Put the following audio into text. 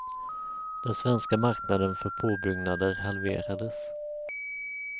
Den svenska marknaden för påbyggnader halverades.